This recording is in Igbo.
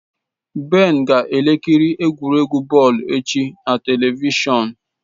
Ben ga ekiri egwuregwu bọọlụ echi na televishọn.